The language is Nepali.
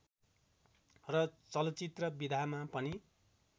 र चलचित्र विधामा पनि